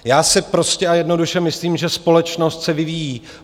Já si prostě a jednoduše myslím, že společnost se vyvíjí.